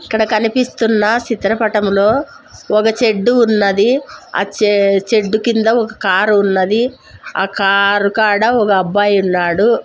ఇక్కడ కనిపిస్తున్న చిత్రపటములో ఒక చెడ్డు ఉన్నది. ఆ చే చెడ్డు కింద ఒక కారు ఉన్నది ఆ కారు కాడ ఒక అబ్బాయి ఉన్నాడు.